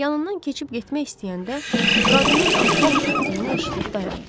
Yanından keçib getmək istəyəndə qadının ah-vah etdiyini eşidib dayandım.